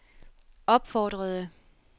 opfordrede